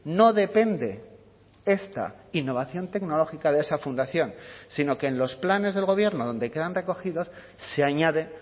no depende esta innovación tecnológica de esa fundación sino que en los planes del gobierno donde quedan recogidos se añade